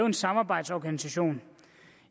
en samarbejdsorganisation